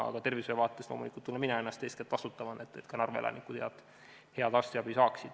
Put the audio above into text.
Aga tervishoiuvaates loomulikult tunnen mina ennast eeskätt vastutavana, et ka Narva elanikud tulevikus head arstiabi saaksid.